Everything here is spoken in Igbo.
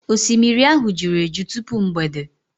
osimiri ahụ juru eju tupu mgbede.